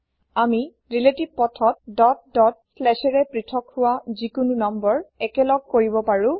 আমি ৰিলেতিভ পথত dot dot ৰে প্ৰিথক হুৱা slash যিকোনো নাম্বাৰএকেলগ কৰিব পাৰো